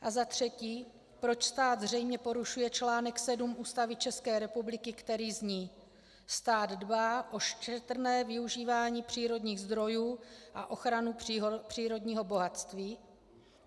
A za třetí, proč stát zřejmě porušuje článek 7 Ústavy České republiky, který zní: Stát dbá o šetrné využívání přírodních zdrojů a ochranu přírodního bohatství?